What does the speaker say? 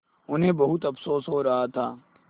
उन्हें बहुत अफसोस हो रहा था